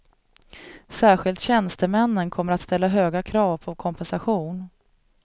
Särskilt tjänstemännen kommer att ställa höga krav på kompensation.